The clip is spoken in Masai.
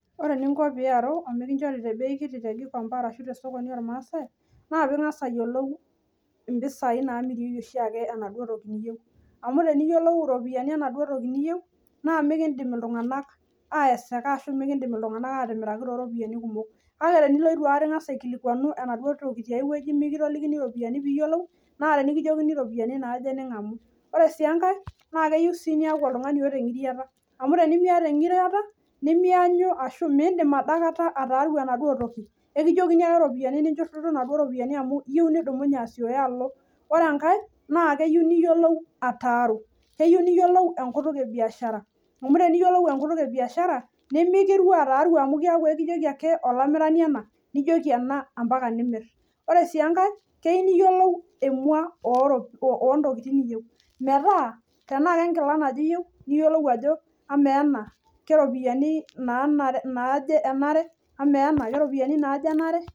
Ore eningo pee iaru omikinchori tebei kiti te Gikomba ashua tesokoni olmaasai, naa piing'as ayiolou mpisai naamirieki oshiake enaduo toki niyieu. Amu teniyiolou iropiyiani enaduo toki niyieu naa mikiindim iltung'anak aayeseka ashua aatimiraki tooropiyiani kumok, kake tenilo eitu aikata aikilikunu enaduo toki tiai wueji mikitolikini iropiyiani piiyiolou naa tenikijokini iropiyiani naaje ning'amu. Ore sii enkae naa keyieu sii niyaku oltung'ani oota eng'iriata, amu tenimiata eng'iriata nimiyanyu ashu miindim adaikata ataaru enaduo toki, ekijokini ake ropiyiani ninchurrututu inaduo ropiyiani amu iyieu nidumunye asiooyo alo. Ore enkae naa keyieu niyiolou ataaru, keyieu niyiolou enkutuk ebiashara, amu teniyiolou enkutuk ebiashara nimikiru ataaru amu ekijoki olamirani ena, nijoki ena mpaka nimirr. Ore sii enkae keyieu niyiolou emua oontokitin niyieu metaa, tenaa kenkila naje iyieu niyiolou ajo amaa ena keropiyiani naaje enare, amaa ena keropiyiani naaje enare.